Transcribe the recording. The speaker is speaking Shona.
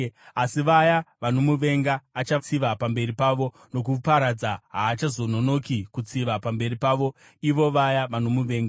Asi vaya vanomuvenga achatsiva pamberi pavo nokuparadza; haachazononoki kutsiva pamberi pavo ivo vaya vanomuvenga.